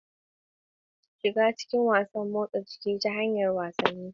Shiga cikin motsa jiki ta hanyar wasanni.